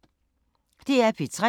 DR P3